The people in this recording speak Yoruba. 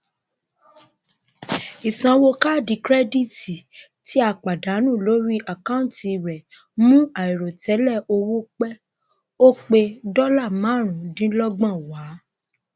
ìsanwó kaádì kirẹdítì tí a pàdánù lórí àkọunti rẹ mú àìrètẹlè owó pe o pẹ dọlà máàrùn dínlọgbọn wá